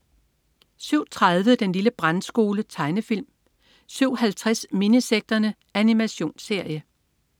07.30 Den lille brandskole. Tegnefilm 07.50 Minisekterne. Animationsserie